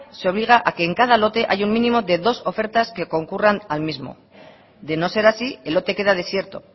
se obliga a que en cada lote haya un mínimo de dos ofertas que concurran al mismo de no ser así el lote queda desierto